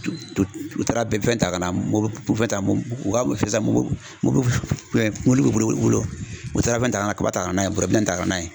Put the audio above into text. U taara ta ka na morifɛ ta u ka bɛ boli u bolo u taara fɛn ta ka taa n'a ye bolifɛn ta ka na